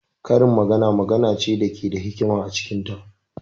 Karin magana magana ce da ke da hikima a cikin ta.